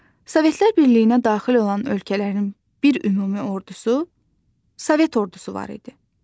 Sovetlər Birliyinə daxil olan ölkələrin bir ümumi ordusu Sovet ordusu var idi.